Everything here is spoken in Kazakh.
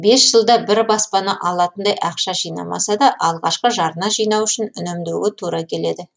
бес жылда бір баспана алатындай ақша жинамаса да алғашқы жарна жинау үшін үнемдеуге тура келеді